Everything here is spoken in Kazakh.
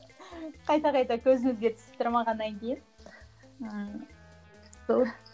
қайта қайта көзімізге түсіп тұрмағаннан кейін ііі сол